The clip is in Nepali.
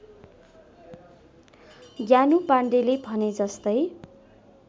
ज्ञानु पाण्डेले भनेजस्तै